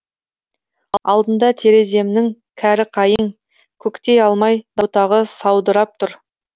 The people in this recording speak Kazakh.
алдында тереземнің кәрі қайың көктей алмай бұтағы саудырап тұр